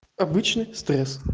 обычный стресс